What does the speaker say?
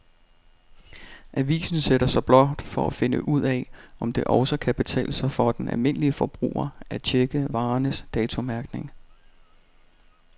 Avisen sætter sig blot for at finde ud af, om det også kan betale sig for den almindelige forbruger at checke varernes datomærkning.